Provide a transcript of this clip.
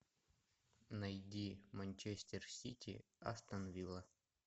найди манчестер сити астон вилла